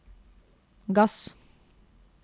gass